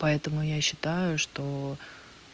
поэтому я считаю что